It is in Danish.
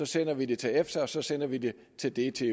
sender vi det til efta og så sender vi det til det til